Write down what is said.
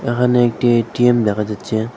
এখানে একটি এ_টি_এম দেখা যাচ্ছে।